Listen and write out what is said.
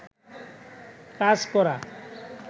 কাজ করা